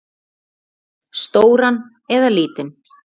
Stóran eða lítinn?